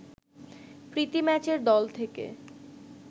প্রীতি ম্যাচের দল থেকে